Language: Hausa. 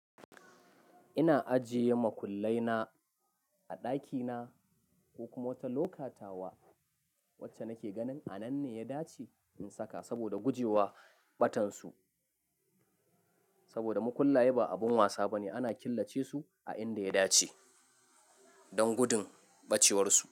Ina ajiye makullai na a ɗaki na ko kuma wata lokatawa wacce nake ganin a nan ne ya dace in saka saboda guje wa ɓatan su. Saboda makullaye ba abun wasa ba ne, ana killace su a inda ya dace don gudun ɓacewar su.